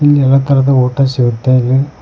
ಇಲ್ಲಿ ಎಲ್ಲಾ ತರದ ಊಟ ಸಿಗ್ತಾ ಇದೆ.